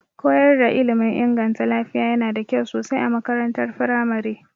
Koyar da ilmin inganta lafiya yana da kyau sosai a makarantar firamare.